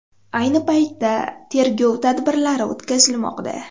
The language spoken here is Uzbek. Ayni paytda tergov tadbirlari o‘tkazilmoqda.